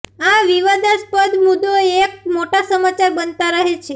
આ વિવાદાસ્પદ મુદ્દો એક મોટાં સમાચાર બનતા રહે છે